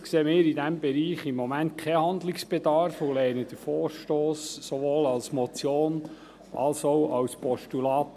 Allerdings sehen wir in diesem Bereich im Moment keinen Handlungsbedarf und lehnen den Vorstoss ab, sowohl als Motion als auch als Postulat.